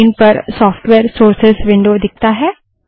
screen पर software sources window दिखता है